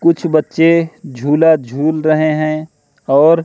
कुछ बच्चे झूला झूल रहे हैं और--